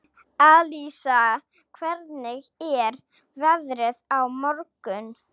Alísa, hvernig er veðrið á morgun?